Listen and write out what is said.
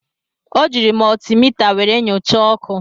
O jiiri mọltimita were nyochaa ọkụ.